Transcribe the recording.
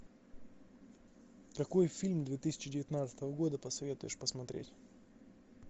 какой фильм две тысячи девятнадцатого года посоветуешь посмотреть